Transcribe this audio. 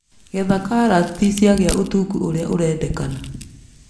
Getha karati ciagĩa ũtungu ũrĩa ũrendekana.